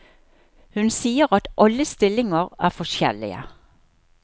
Hun sier at alle stillinger er forskjellige.